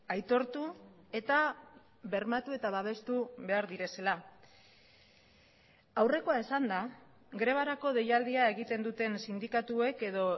aitortu eta bermatu eta babestu behar direla aurrekoa esanda grebarako deialdia egiten duten sindikatuek edo